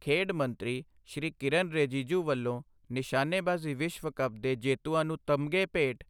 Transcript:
ਖੇਡ ਮੰਤਰੀ ਸ੍ਰੀ ਕਿਰੇਨ ਰਿਜਿਜੂ ਵੱਲੋਂ ਨਿਸ਼ਾਨੇਬਾਜ਼ੀ ਵਿਸ਼ਵ ਕੱਪ ਦੇ ਜੇਤੂਆਂ ਨੂੰ ਤਮਗ਼ੇ ਭੇਟ,